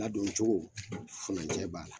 Ladon cogo furancɛ b'a la